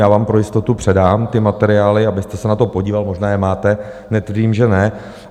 Já vám pro jistotu předám ty materiály, abyste se na to podíval - možná je máte, netvrdím, že ne.